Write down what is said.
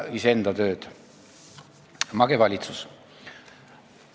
Mage valitsus!